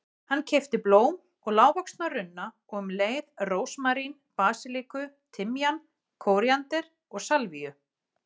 Hann keypti blóm og lágvaxna runna og um leið rósmarín, basilíku, timjan, kóríander og salvíu.